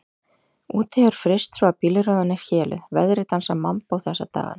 Úti hefur fryst svo að bílrúðan er héluð, veðrið dansar mambó þessa dagana.